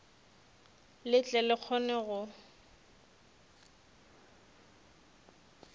le tle le kgone go